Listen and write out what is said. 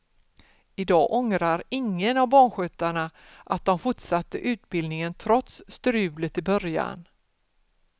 Idag ångrar ingen av barnskötarna att de fortsatte utbildningen trots strulet i början.